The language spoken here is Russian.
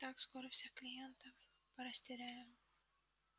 так скоро всех клиентов порастеряем